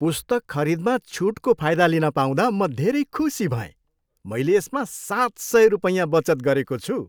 पुस्तक खरिदमा छुटको फाइदा लिन पाउँदा म धेरै खुसी भएँ। मैले यसमा सात सय रुपैयाँ बचत गरेको छु!